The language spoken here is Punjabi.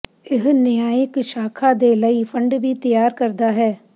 ਇਹ ਨਿਆਂਇਕ ਸ਼ਾਖਾ ਦੇ ਲਈ ਫੰਡ ਵੀ ਤਿਆਰ ਕਰਦਾ ਹੈ